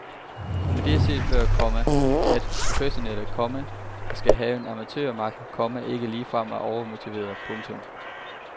Men det er før set, komma at professionelle, komma der skal have en amatørmakker, komma ikke ligefrem er overmotiverede. punktum